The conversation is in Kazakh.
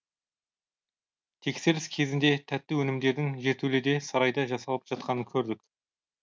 тексеріс кезінде тәтті өнімдердің жертөледе сарайда жасалып жатқанын көрдік